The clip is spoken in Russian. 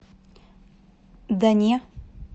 да не